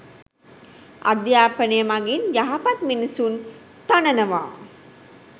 අධ්‍යාපනය මගින් යහපත් මිනිසුන් තනනවා